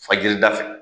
Fajiri da fɛ